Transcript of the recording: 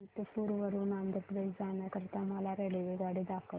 अनंतपुर वरून आंध्र प्रदेश जाण्या करीता मला रेल्वेगाडी दाखवा